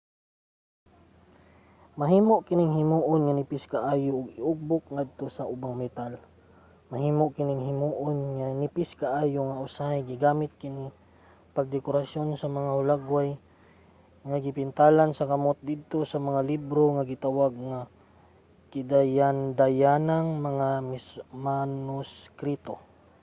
mahimo kining himoon nga nipis kaayo ug iugbok ngadto sa ubang metal. mahimo kining himoon nga nipis kaayo nga usahay gigamit kini pagdekorasyon sa mga hulagway nga gipintalan sa kamot didto sa mga libro nga gitawag nga gidayandayanang mga manuskrito